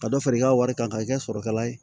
Ka dɔ fara i ka wari kan k'a kɛ sɔrɔkɛla ye